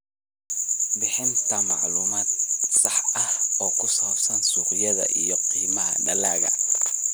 Bixinta macluumaad sax ah oo ku saabsan suuqyada iyo qiimaha dalagga.